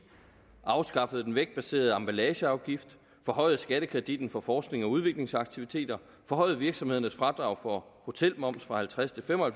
afskaffet den vægtbaserede emballageafgift forhøjet skattekreditten for forsknings og udviklingsaktiviteter forhøjet virksomhedernes fradrag for hotelmomsen fra halvtreds til fem og